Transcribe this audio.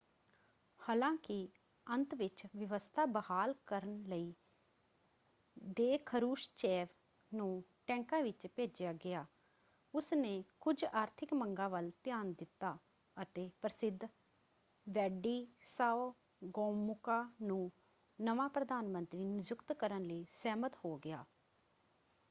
ਹਾਲਾਂਕਿ ਅੰਤ ਵਿੱਚ ਵਿਵਸਥਾ ਬਹਾਲ ਕਰਨ ਲਈ ਦੇ ਖਰੁਸ਼ਚੇਵ ਨੂੰ ਟੈਂਕਾਂ ਵਿੱਚ ਭੇਜਿਆ ਗਿਆ ਉਸਨੇ ਕੁਝ ਆਰਥਿਕ ਮੰਗਾਂ ਵੱਲ ਧਿਆਨ ਦਿੱਤਾ ਅਤੇ ਪ੍ਰਸਿੱਧ ਵੈਡਿਸਾਓ ਗੋਮੂਕਾ ਨੂੰ ਨਵਾਂ ਪ੍ਰਧਾਨ ਮੰਤਰੀ ਨਿਯੁਕਤ ਕਰਨ ਲਈ ਸਹਿਮਤ ਹੋ ਗਿਆ।